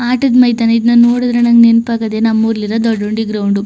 ಆಟದ ಮೈದಾನ ಇದನ್ನ ನೋಡಿದ್ರೆ ನಂಗೆ ನೆನಪಾಗೋದು ನಮ್ಮೂರಲ್ಲಿರೋ ದೊಡ್ಡ ಹುಂಡಿ ಗ್ರೌಂಡ್ .